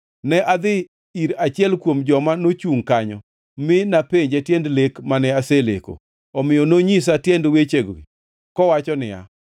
Ne adhi ir achiel kuom joma nochungʼ kanyo mi napenje tiend lek mane aseleko. “Omiyo nonyisa, tiend wechegi kowacho niya,